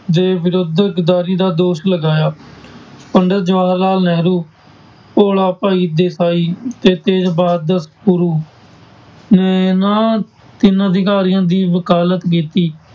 ਦੇ ਵਿਰੁੱਧ ਗਰਦਾਰੀ ਦਾ ਦੋਸ਼ ਲਗਾਇਆ, ਪੰਡਿਤ ਜਵਾਹਰ ਲਾਲ ਨਹਿਰੂ, ਭੋਲਾ ਭਾਈ ਦੇਸਾਈ ਤੇ ਤੇਜ ਨੇ ਇਹਨਾਂ ਤਿੰਨ ਅਧਿਕਾਰੀਆਂ ਦੀ ਵਕਾਲਤ ਕੀਤੀ।